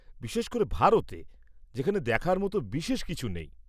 বিশেষ করে ভারতে, যেখানে দেখার মতো বিশেষ কিছু নেই!